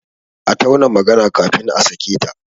A tauna magana kafin a sake ta!